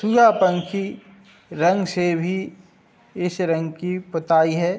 यह पंखी रंग से भी इस रंग की पोताई है।